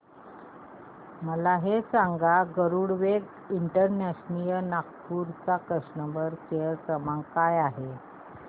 मला हे सांग गरुडवेग इंटरनॅशनल नागपूर चा कस्टमर केअर क्रमांक काय आहे